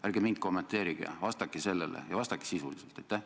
Ärge mind kommenteerige, vastake sellele, ja vastake sisuliselt!